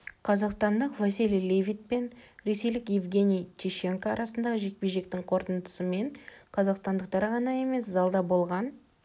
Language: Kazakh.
қазақстандық василий левит пен ресейлік евгений тищенко арасындағы жекпе-жектің қорытындысымен қазақстандықтар ғана емес залда болған